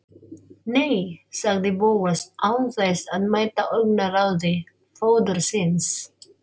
Nei- sagði Bóas án þess að mæta augnaráði föður síns.